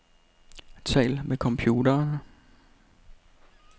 Tal med computeren.